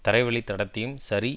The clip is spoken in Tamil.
தரைவழி தடத்தையும் சரி